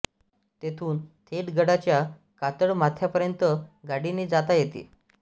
तेथून थेट गडाच्या कातळ माथ्यापर्यंत गाडीने जाता येते